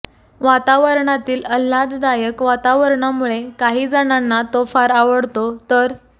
वातावरणातील अल्हाददायक वातावरणामुळे काही जणांना तो फार आवडतो तर